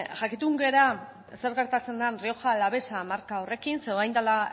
jakitun gara zer gertatzen den rioja alavesa marka horrekin ze orain dela